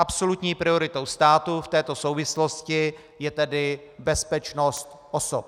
Absolutní prioritou státu v této souvislosti je tedy bezpečnost osob.